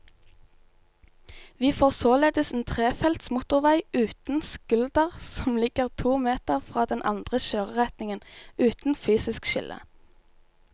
Vi får således en trefelts motorvei uten skulder som ligger to meter fra den andre kjøreretningen, uten fysisk skille.